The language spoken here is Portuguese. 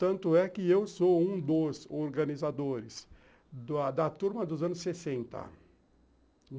Tanto é que eu sou um dos organizadores da turma dos anos sesenta.